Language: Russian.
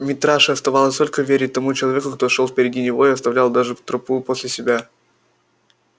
митраше оставалось только верить тому человеку кто шёл впереди него и оставил даже тропу после себя